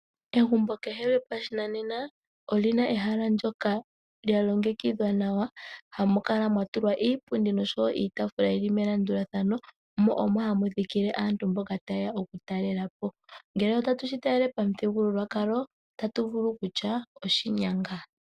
Egumbo kehe lyo Pananena, olina ehala ndjoka lya longekidhwa nawa. Hamu kala mwa tulwa iipundi nosho woo iitafula yili melandulathano, mo omo hamu thikile aantu mboka ha yeya oku talelapo. Ngele otatu shi talele pomuthigululwakalo ota tuvulu kutya oshinyanga.